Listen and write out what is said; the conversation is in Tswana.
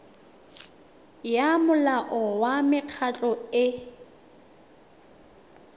ya molao wa mekgatlho e